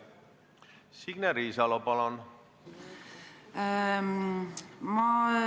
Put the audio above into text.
Signe Riisalo, palun!